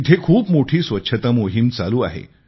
तिथे खूप मोठी स्वच्छता मोहीम चालू आहे